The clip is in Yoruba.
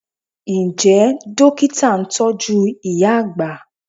Ǹjẹ́ Dókítà ń tọ́jú ìyá àgbà?